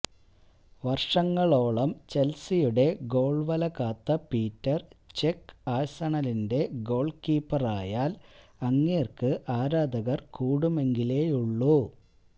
വര്ഷങ്ങളോളം ചെല്സിയുടെ ഗോള്വല കാത്ത പീറ്റര് ചെക്ക് ആഴ്സണലിന്റെ ഗോള്കീപ്പറായാല് അങ്ങേര്ക്ക് ആരാധകര് കൂടുമെങ്കിലേയുള്ളൂ